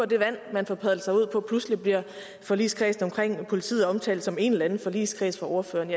det vand man får padlet sig ud på pludselig bliver forligskredsen omkring politiet omtalt som en eller anden forligskreds fra ordførerens